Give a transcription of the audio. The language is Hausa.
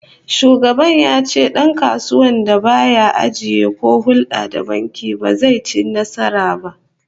Shugaban ya ce dankasuwar da ba ya ajiya ko hulda da banki ba, ba zai ci nasara ba